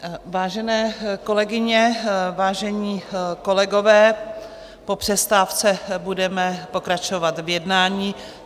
Vážené kolegyně, vážení kolegové, po přestávce budeme pokračovat v jednání.